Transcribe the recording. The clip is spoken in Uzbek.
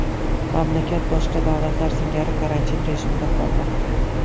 Mamlakat boshqa davlatlar singari karantin rejimida qolmoqda.